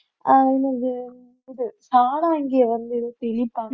அஹ் என்னது தெளிப்பாங்க